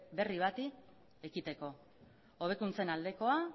berri bati ekiteko hobekuntzen aldekoa